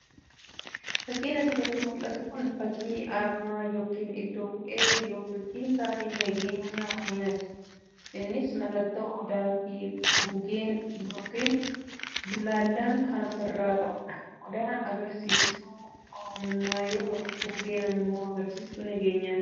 fakiin asirratti mul'atu kun fakii aarmaa yookiin iddoo bu'ee Biiroo Bulchiinsaa fi Nageenya Oromiyaati. innis mallattoo odaa fi guugeen yookiin bullaallaa kan ofirraa qabudha. odaan agarsiistuu oromummaa yoo ta'u guugeen immoo agarsiistuu nageenyaati.